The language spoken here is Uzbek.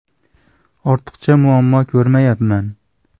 Ortiqcha muammo ko‘rmayapman.